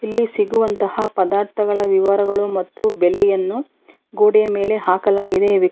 ಇಲ್ಲಿ ಸಿಗುವಂತಹ ಪದಾರ್ಥಗಳ ವಿವರಗಳು ಮತ್ತು ಬೆಲೆಯನ್ನು ಗೋಡೆಯ ಮೇಲೆ ಹಾಕಲಾಗಿದೆ ಈ ವ್ಯಕ್ತಿ.